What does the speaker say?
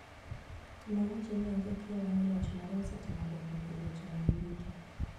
Nowacho ni onge kiawa ni loch mare osetimo dongruok e weche mag yuto.